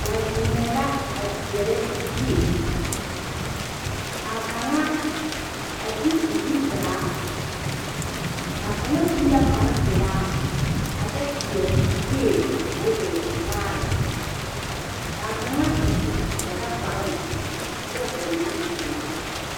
Ba zeŋɛɛ la a teɛrɛ bie, ka a kaŋa a ti o zu taa, a kaŋa su la kpare pelaa a kyɛ seɛ kuree k'o e vaare ka a kaŋa a su Dagakparoŋ kyɛ hɔɔle zupili pelaa.